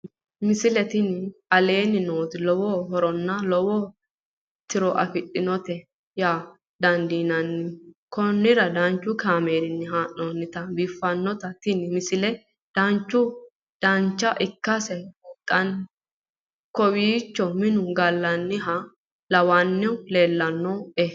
misile tini aleenni nooti lowo horonna lowo tiro afidhinote yaa dandiinanni konnira danchu kaameerinni haa'noonnite biiffannote tini misile dancha ikkase buunxanni kowiicho minu gallanniha lawannohu lellanni nooe